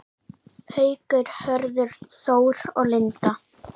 Haukur, Hörður Þór og Linda.